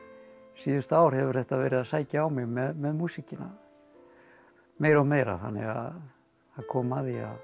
síðustu ár hefur þetta verið að sækja á mig með músíkina meira og meira þannig að það kom að því